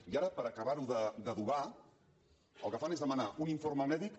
i ara per acabar ho d’adobar el que fan és demanar un informe mèdic